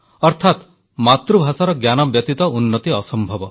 ଅର୍ଥାତ୍ ମାତୃଭାଷାର ଜ୍ଞାନ ବ୍ୟତୀତ ଉନ୍ନତି ଅସମ୍ଭବ